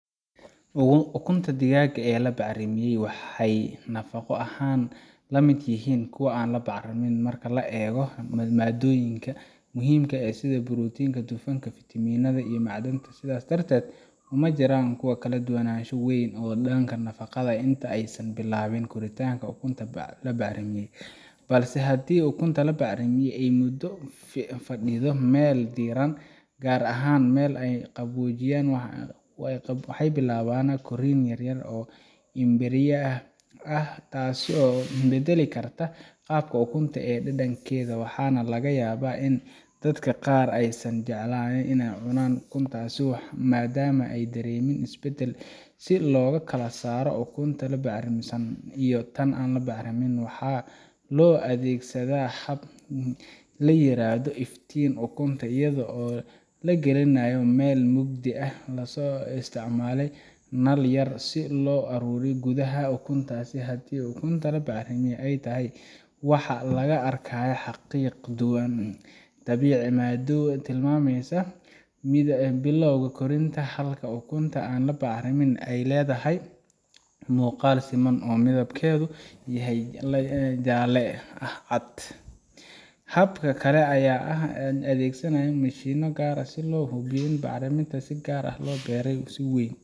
ukunta digaaga ee la bacrimiyay waxay nafaqo ahaan la mid yihiin kuwa aan la bacrimin marka laga eego maaddooyinka muhiimka ah sida borotiinka, dufanka, fitamiinada, iyo macdanta sidaas darteed uma jiraan kala duwanaansho weyn oo dhanka nafaqada ah inta aysan bilaabin koritaanka ukunta bacrimisay balse haddii ukunta la bacrimiyay ay muddo fadhido meel diirran gaar ahaan meel aan qaboojinayn waxa bilaabanaya korriin yaryar oo embriyaha ah taasoo beddeli karta qaabka ukunta iyo dhadhankeeda waxaana laga yaabaa in dadka qaar aysan jeclaanin in ay cunaan ukuntaas maadaama ay dareemaan isbeddel si loo kala saaro ukunta bacrimisan iyo tan aan la bacrimin waxaa loo adeegsadaa hab la yiraahdo iftiimin ukunta iyadoo la gelinayo meel mugdi ah lana isticmaalayo nal yar si loo arko gudaha ukunta haddii ukunta bacrimisay tahay waxaa laga arkayaa xarriiq ama dhibic madow oo tilmaamaysa bilowga koritaanka halka ukunta aan la bacrimin ay leedahay muuqaal siman oo midabkeedu yahay jaalle leh cad hab kale ayaa ah in la adeegsado mashiinno gaar ah oo lagu hubiyo bacriminta si gaar ah beeraleyda weyn